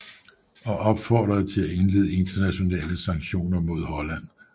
Og opfordrede til at indlede internationale sanktioner mod Holland